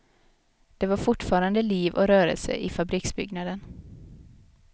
Det var fortfarande liv och rörelse i fabriksbyggnaden.